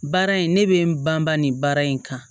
Baara in ne bɛ n banbaa nin baara in kan